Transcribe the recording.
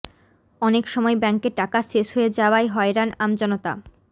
অনেক সময় ব্যাঙ্কে টাকা শেষ হয়ে যাওয়ায় হয়রান আমজনতা